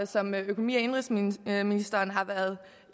som økonomi og indenrigsministeren har været